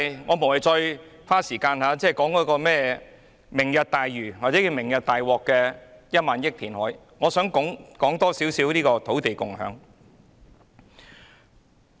我無謂再花時間談論"明日大嶼"的1萬億元填海工程，我想談談"土地共享"。